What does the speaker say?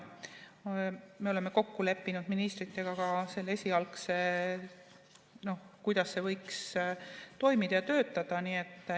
Me oleme esialgselt kokku leppinud ministritega ka selle, kuidas see võiks toimida ja töötada.